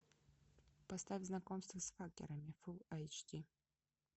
поставь знакомство с факерами фул айч ди